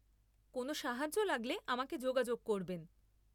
কোন সাহায্য লাগলে আমাকে যোগাযোগ করবেন।